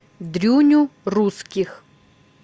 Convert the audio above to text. дрюню русских